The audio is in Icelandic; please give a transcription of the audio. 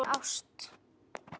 Það var ástin.